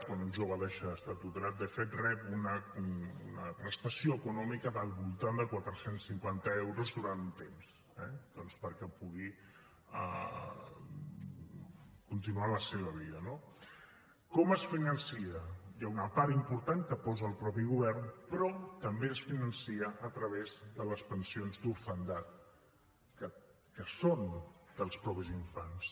quan un jove deixa d’estar tutelat de fet rep una prestació econòmica del voltant de quatre cents cinquanta euros durant un temps eh perquè pugui continuar la seva vida no com es finança hi ha una part important que posa el mateix govern però també es finança a través de les pensions d’orfandat que són dels mateixos infants